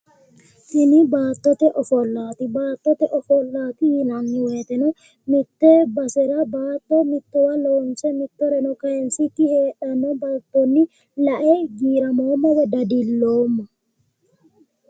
Tini baattote ofollaati. Baattote ofollaati yinanni woyiteno mitte badera baatto mittowa loonse kayinsikki heedhanno baatto lae giiramoomma woy dadilloomma.